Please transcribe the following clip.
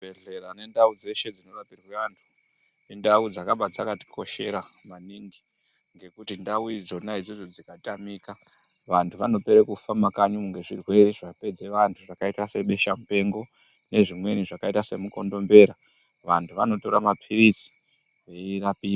Zvibhedhleya nendau dzeshe dzinobrapirwe anthu, indau dzakabaa dzakatikoshera maningi ngekuti ndau idzona idzodzo dzikatamika vanthu vanopera kufa mumakanyi umu ngezvirwere zvapedze vanthu zvakaite sebesha mupengo, nezvimweni zvakaita semukondombera, vantu vanotora mapilizi veirapiwa.